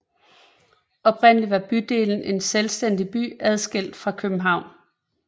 Oprindeligt var bydelen en selvstændig by adskilt fra København